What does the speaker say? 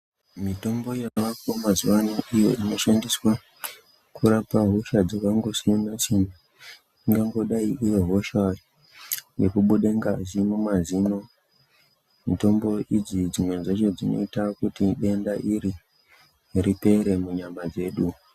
Mitombo yavako mazuva ano iyo inoshandiwa kurapa hosha dzakangoiyana-siyana. Ingangodai iri hosha yekubuda ngazi mumazino. Mitombo idzi dzimwe dzacho dzinota kuti denda iri ripere munyama dzedu.